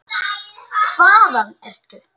Hvaðan ertu?